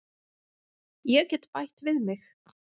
Ég get bætt við mig.